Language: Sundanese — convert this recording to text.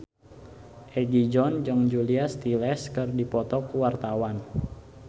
Egi John jeung Julia Stiles keur dipoto ku wartawan